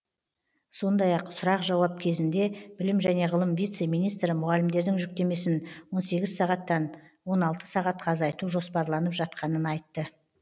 сондай ақ сұрақ жауап кезінде білім және ғылым вице министрі мұғалімдердің жүктемесін он сегіз сағаттан он алты сағатқа азайту жоспарланып жатқанын айтты